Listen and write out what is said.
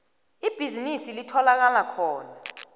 ibhizinisi litholakala khona